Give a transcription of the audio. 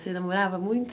Você namorava muito?